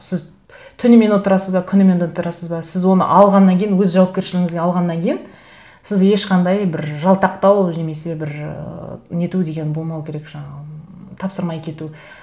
сіз түнімен отырасыз ба күнімен отырасыз ба сіз оны алғаннан кейін өз жауапкершілігіңізге алғаннан кейін сіз ешқандай бір жалтақтау немесе бір ыыы нету деген болмау керек жаңағы тапсырмай кету